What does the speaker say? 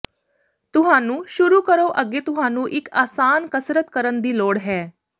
ਤੁਹਾਨੂੰ ਸ਼ੁਰੂ ਕਰੋ ਅੱਗੇ ਤੁਹਾਨੂੰ ਇੱਕ ਆਸਾਨ ਕਸਰਤ ਕਰਨ ਦੀ ਲੋੜ ਹੈ